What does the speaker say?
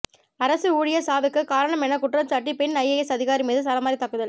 அரசு ஊழியர் சாவுக்கு காரணம் என குற்றம்சாட்டி பெண் ஐஏஎஸ் அதிகாரி மீது சரமாரி தாக்குதல்